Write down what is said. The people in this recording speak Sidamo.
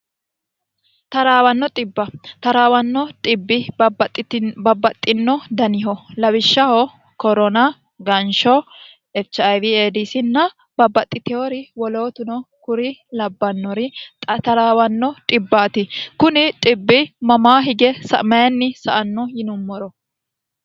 taraawanno xibb taraawanno dhibbi babbaxxino daniho lawishshaho korona gansho echiwieedisinna babbaxxitewo wolootuno kuri labbannori xa taraawanno dhbbaati kuni xibbi mamaa hige sa'anno yinummoro